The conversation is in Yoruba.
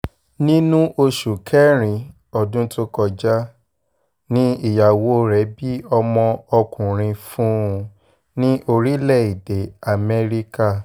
um nínú oṣù kẹrin ọdún tó kọjá um ni ìyàwó rẹ̀ bí ọmọ ọkùnrin fún un ní orílẹ̀‐èdè amẹ́ríkà